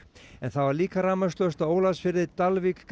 en það var líka rafmagnslaust á Ólafsfirði Dalvík